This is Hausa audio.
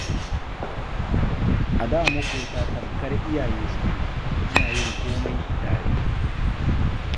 A da maƙota tamkar iyaye suke, ana yin komai tare.